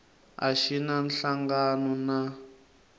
a xi na nhlangano na